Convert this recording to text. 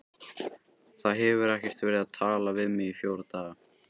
Það hefur ekkert verið talað við mig í fjóra daga.